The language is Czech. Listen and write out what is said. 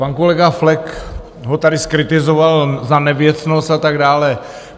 Pan kolega Flek ho tady zkritizoval za nevěcnost a tak dále.